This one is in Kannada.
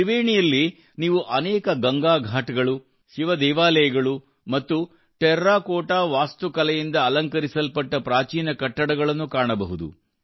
ತ್ರಿವೇಣಿಯಲ್ಲಿ ನೀವು ಅನೇಕ ಗಂಗಾ ಘಾಟ್ಗಳು ಶಿವ ದೇವಾಲಯಗಳು ಮತ್ತು ಟೆರಾಕೋಟಾ ವಾಸ್ತುಕಲೆಯಿಂದ ಅಲಂಕರಿಸಲ್ಪಟ್ಟ ಪ್ರಾಚೀನ ಕಟ್ಟಡಗಳನ್ನು ಕಾಣಬಹುದು